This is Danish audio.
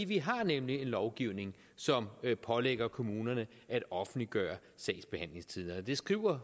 vi har nemlig en lovgivning som pålægger kommunerne at offentliggøre sagsbehandlingstiderne det skriver